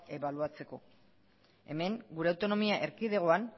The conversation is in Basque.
ebaluatzeko hemen gure autonomia erkidegoan